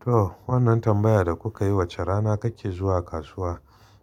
To, wannan tambaya da kuka yi, wace rana kake zuwa kasuwa?